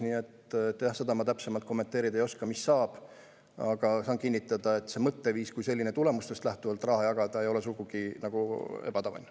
Nii et seda ma täpsemalt kommenteerida ei oska, mis saab, aga võin kinnitada, et see mõtteviis kui selline, et raha tuleks jagada tulemustest lähtuvalt, ei ole sugugi ebatavaline.